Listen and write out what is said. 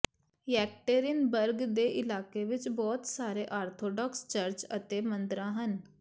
Yekaterinburg ਦੇ ਇਲਾਕੇ ਵਿਚ ਬਹੁਤ ਸਾਰੇ ਆਰਥੋਡਾਕਸ ਚਰਚ ਅਤੇ ਮੰਦਰਾਂ ਹਨ